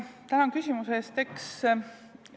Tänan küsimuse eest!